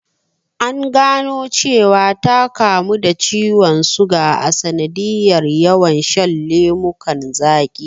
An gano cewa ta kamu da ciwon suga a sanadiyar yawan shan lemukan zaqi